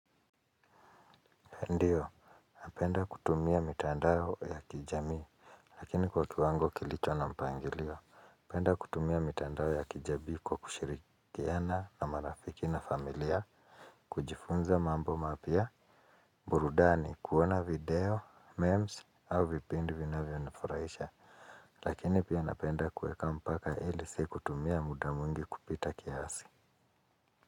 Ndiyo, napenda kutumia mitandao ya kijamii, lakini kwa kiwango kilicho na mpangilio. Napenda kutumia mitandao ya kijadiko kushirikiana na marafiki na familia, kujifunza mambo mapya, burudani kuona video, memes au vipindi vinavyo nifurahisha, lakini pia napenda kueka mpaka ili sikutumia muda mwingi kupita kiasi.